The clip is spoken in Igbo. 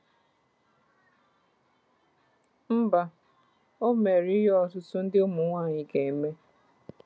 Mba, o mere ihe ọtụtụ ndị ụmụ nwaanyị ga-eme.